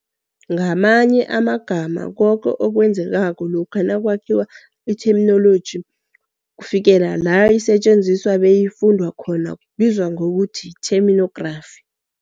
Ngamanye amagama, koke okwenzekako lokha nakwakhiwa itheminoloji kufikela la isetjenziswa beyifundwa khona kubizwa ngokuthi yitheminografi.